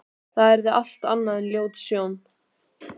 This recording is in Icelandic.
Það yrði allt annað en ljót sjón.